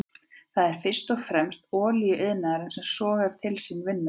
Það er fyrst og fremst olíuiðnaðurinn sem sogar til sín vinnuafl.